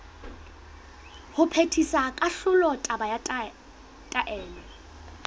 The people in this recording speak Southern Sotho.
ho phethisa kahlolo kapa taelo